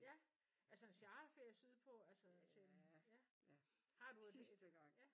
Ja altså charterferie sydpå altså sådan? Ja har du et?